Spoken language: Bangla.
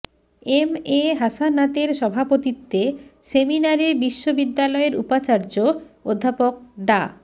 এম এ হাসানাতের সভাপতিত্বে সেমিনারে বিশ্ববিদ্যালয়ের উপাচার্য অধ্যাপক ডা